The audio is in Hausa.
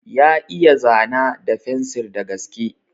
Ya iya zana da fensir da gaske.